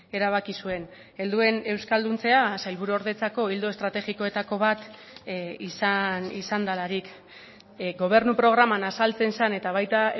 erabaki zuen helduen euskalduntzea sailburuordetzako ildo estrategikoetako bat izan delarik gobernu programan azaltzen zen eta baita